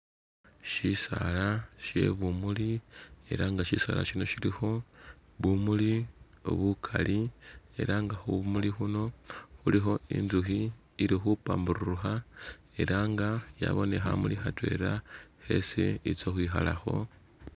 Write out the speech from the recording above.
Shisala shebumuli elah nga shisala shino shilikho bumuli bukali elah nga khumuli khuno khulikho intsukhi ili khupambururukha elah nga yabane khamuli khatwela khesi khetsa khwikhalakho